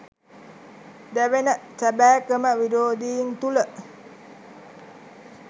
දැවෙන සැබෑ ක්‍රම විරෝධීන් තුළ